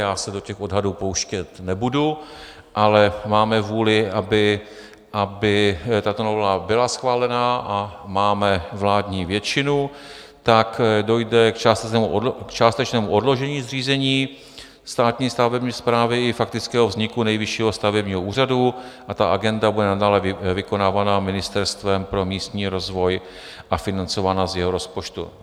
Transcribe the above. Já se do těch odhadů pouštět nebudu, ale máme vůli, aby tato novela byla schválena, a máme vládní většinu, tak dojde k částečnému odložení zřízení státní stavební správy i faktického vzniku Nejvyššího stavebního úřadu a ta agenda bude nadále vykonávána Ministerstvem pro místní rozvoj a financována z jeho rozpočtu.